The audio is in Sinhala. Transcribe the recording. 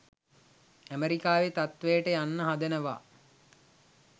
ඇමෙරිකාවේ තත්ත්වයට යන්න හදනවා.